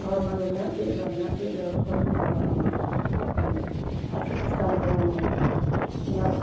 ama ga nyah cheh thaga nyah cheh la kom mihpa amak um asap cha tan taga gama nyah--